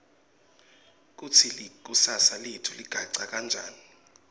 kutsi likusasa letfu ligacha kanjani